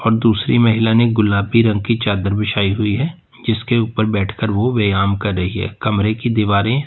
दूसरी महिला ने गुलाबी रंग की चादर बिछाई हुई है जिसके ऊपर बैठकर वो व्यायाम कर रही है कमरे की दीवारें--